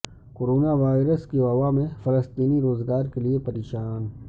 corona virus کی وبا میں فلسطینی روزگار کے لیے پریشان